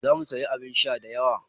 Za mu sayi abin sha da yawa.